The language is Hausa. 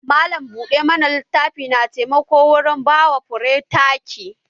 Malam buɗe littafi na taimako wurin ba wa fure taki